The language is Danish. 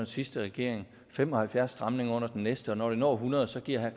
sidste regering og fem og halvfjerds stramninger under den næste og når det når hundrede giver herre